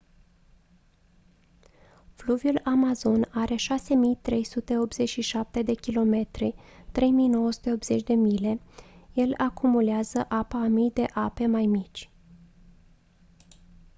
fluviul amazon are 6.387 km 3.980 mile. el acumulează apa a mii de ape mai mici